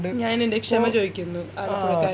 ഞാനെൻറെ ക്ഷമ ചോദിക്കുന്നു ആലപുഴകരോട്